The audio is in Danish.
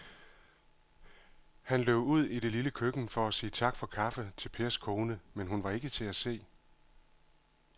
Han løb ud i det lille køkken for at sige tak for kaffe til Pers kone, men hun var ikke til at se.